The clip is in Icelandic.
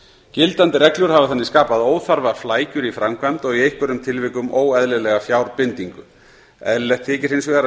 gildandi reglur hafa þannig skapað óþarfaflækjur í framkvæmd og í einhverjum tilvikum óeðlilega fjárbindingu eðlilegt þykir hins vegar að